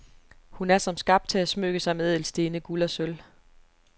Hun er som skabt til at smykke sig med ædelstene, guld og sølv.